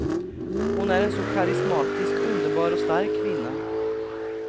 Hon är en så karismatisk, underbar och stark kvinna.